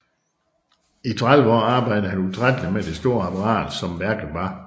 I 30 år arbejdede han utrætteligt med det store apparat som værket var